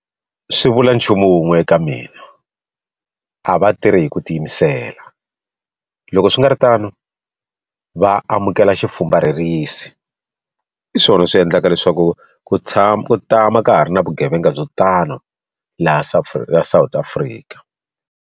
Swi vuli nchumu wun'we eka mina a va tirhi hi ku tiyimisela loko swi nga ri tano va amukela xifumbarherisi hi swona swi endlaka leswaku ku tshama ku tama ka ha ri na vugevenga byo tano laha South Africa.